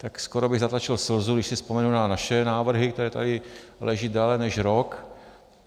Tak skoro bych zatlačil slzu, když si vzpomenu na naše návrhy, které tady leží déle než rok.